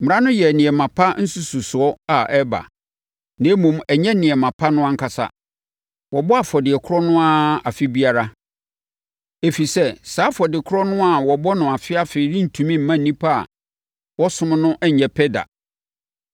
Mmara no yɛ nneɛma pa nsususoɔ a ɛreba, na mmom, ɛnnyɛ nneɛma pa no ankasa. Wɔbɔ afɔdeɛ korɔ no ara afe biara, ɛfiri sɛ saa afɔdeɛ korɔ a wɔbɔ no afeafe rentumi mma nnipa a wɔsom no nnyɛ pɛ da.